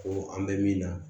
Ko an bɛ min na